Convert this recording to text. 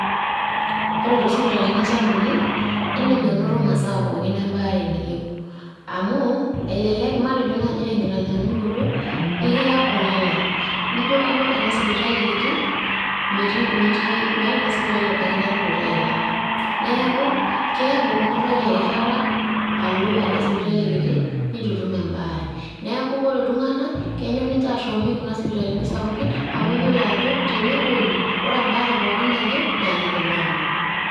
Ore too sipitalini sapukini indim anoto masaa pookin embaare niyieu ,amu elelek matejo naaji tenkitanyanyanyukoto ,ikiya olalae nijo alo ena sipitali kiti metii meeta ina sipitali oldakitari oitayu ilala , neaku keaku inturarie erishata alo enda sipitali kiti nitu itum embaare . neaku ore iltunganak kenyor ninche ashomi kuna sipitalini sapukin amu iyiolo ajo tenepuo ine ore embaare pookin nayieu naa kidim aanoto